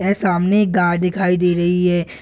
ये सामने गाय दिखाई दे रही है।